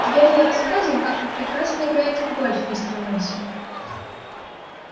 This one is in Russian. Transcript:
вернон рассказывал как вы прекрасно играете в гольф мистер мейсон